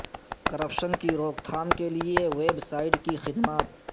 corruption کی روک تھام کے لیے ویب سائٹ کی خدمات